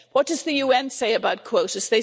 What does the UN say about quotas?